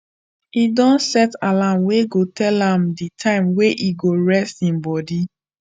he don set alarm wey go dey tell am the time wey he go rest him body